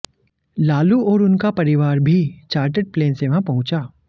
लालू और उनका परिवार भी चार्टर्ड प्लेन से वहां पहुंचा